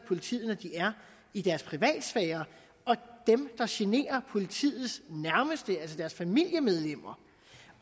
politiet er i deres privatsfære og dem der generer politiets nærmeste altså deres familiemedlemmer